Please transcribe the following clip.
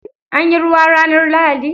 Anyi ruwa ranar lahadi?